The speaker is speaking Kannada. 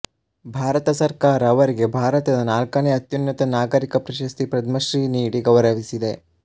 ಭಾರತ ಸರ್ಕಾರ ಅವರಿಗೆ ಭಾರತದ ನಾಲ್ಕನೇ ಅತ್ಯುನ್ನತ ನಾಗರಿಕ ಪ್ರಶಸ್ತಿ ಪದ್ಮಶ್ರೀ ನೀಡಿ ಗೌರವಿಸಿದೆ